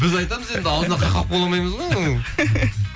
біз айтамыз енді аузына қақпақ бола алмаймыз ғой оның